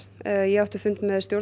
ég átti fund með stjórn